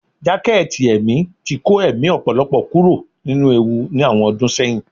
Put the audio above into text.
Jaketí emí tí kọ emí ọpọlọpọ kuro ninú ewú ní awọn ọdun seyín